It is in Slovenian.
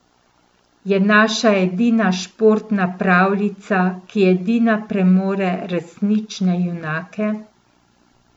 Je naša edina športna pravljica, ki edina premore resnične junake.